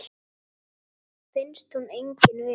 Finnst hún engin vera.